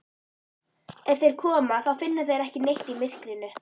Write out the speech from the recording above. Ef þeir koma þá finna þeir ekki neitt í myrkrinu.